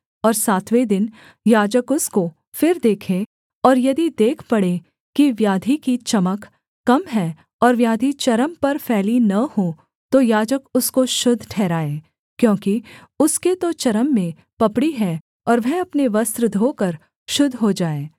और सातवें दिन याजक उसको फिर देखे और यदि देख पड़े कि व्याधि की चमक कम है और व्याधि चर्म पर फैली न हो तो याजक उसको शुद्ध ठहराए क्योंकि उसके तो चर्म में पपड़ी है और वह अपने वस्त्र धोकर शुद्ध हो जाए